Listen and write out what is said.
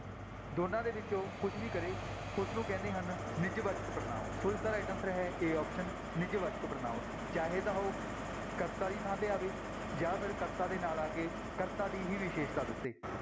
ਦੋਨੋਂ ਦੇ ਵਿੱਚੋਂ ਕੁੁਛ ਵੀ ਕਰੇ ਉਸਨੂੰ ਕਹਿੰਦੇ ਹਨ ਨਿੱਜਵਾਚਕ ਪੜ੍ਹਨਾਂਵ ਸੋ ਇਸਦਾ right answer ਹੈ a option ਨਿੱਜਵਾਚਕ ਪੜ੍ਹਨਾਂਵ, ਚਾਹੇ ਤਾਂ ਉਹ ਕਰਤਾ ਦੀ ਥਾਂ ਤੇ ਆਵੇ ਜਾਂ ਫਿਰ ਕਰਤਾ ਦੇ ਨਾਲ ਆ ਕੇ ਕਰਤਾ ਦੀ ਹੀ ਵਿਸ਼ੇਸ਼ਤਾ ਦੱਸੇ।